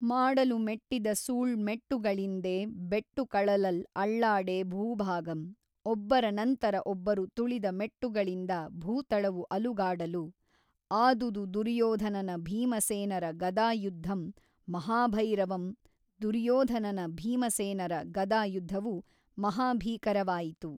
ಮಾಡಲು ಮೆಟ್ಟಿದ ಸೂಳ್ ಮೆಟ್ಟುಗಳಿಂದೆ ಬೆಟ್ಟು ಕಳಲಲ್ ಅಳ್ಳಾಡೆ ಭೂಭಾಗಂ ಒಬ್ಬರನಂತರ ಒಬ್ಬರು ತುಳಿದ ಮೆಟ್ಟುಗಳಿಂದ ಭೂತಳವು ಅಲುಗಾಡಲು ಆದುದು ದುರ್ಯೋಧನನ ಭೀಮಸೇನರ ಗದಾ ಯುದ್ಧಂ ಮಹಾಭೈರವಂ ದುರ್ಯೋಧನನ ಭೀಮಸೇನರ ಗದಾ ಯುದ್ಧವು ಮಹಾಭೀಕರವಾಯಿತು.